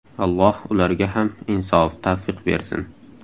Alloh ularga ham insof‑tavfiq bersin!